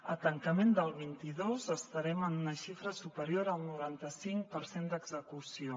al tancament del vint dos estarem en una xifra superior al noranta cinc per cent d’execució